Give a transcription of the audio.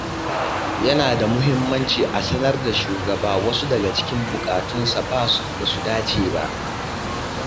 Yana da muhimmanci a sanar da shugaba wasu daga cikin buƙatunsa ba su dace ba.